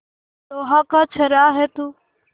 लोहा का छर्रा है तू